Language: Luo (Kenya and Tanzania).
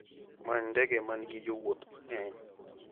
Many ndege ma nigi jowuoth mang'eny.